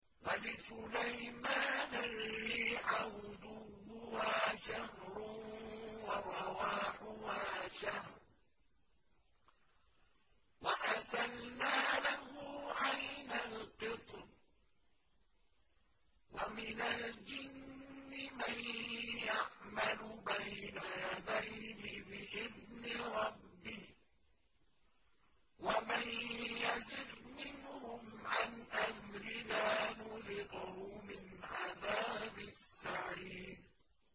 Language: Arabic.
وَلِسُلَيْمَانَ الرِّيحَ غُدُوُّهَا شَهْرٌ وَرَوَاحُهَا شَهْرٌ ۖ وَأَسَلْنَا لَهُ عَيْنَ الْقِطْرِ ۖ وَمِنَ الْجِنِّ مَن يَعْمَلُ بَيْنَ يَدَيْهِ بِإِذْنِ رَبِّهِ ۖ وَمَن يَزِغْ مِنْهُمْ عَنْ أَمْرِنَا نُذِقْهُ مِنْ عَذَابِ السَّعِيرِ